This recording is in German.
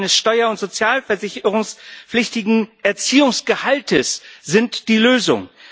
Zahlung eines steuer und sozialversicherungspflichtigen Erziehungsgehalts ist die Lösung.